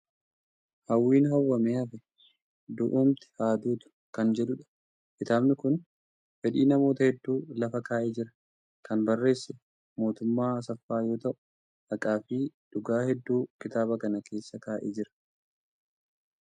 Hawwiin hawwamee hafe "Du'umti haa duutu!" kan jedhudha. Kitaabni kun fedhii namoota hedduu lafa kaa'ee jira. Kan barreesse Mootummaa Asaffaa yoo ta'u, haqaa fi dhugaa hedduu kitaaba kana keessa kaa'ee jira.